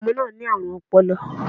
Ọmọ náà ní àrùn ọpọlọ